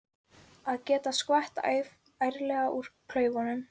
Að geta skvett ærlega úr klaufunum!